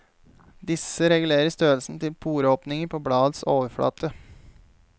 Disse regulerer størrelsen til poreåpninger på bladets overflate.